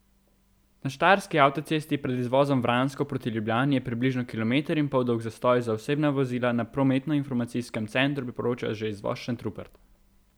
Na štajerski avtocesti pred izvozom Vransko proti Ljubljani je približno kilometer in pol dolg zastoj, za osebna vozila na prometnoinformacijskem centru priporočajo že izvoz Šentrupert.